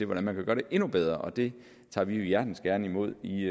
hvordan man kan gøre det endnu bedre og det tager vi jo hjertens gerne imod i